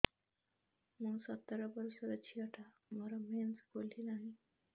ମୁ ସତର ବର୍ଷର ଝିଅ ଟା ମୋର ମେନ୍ସେସ ଖୁଲି ନାହିଁ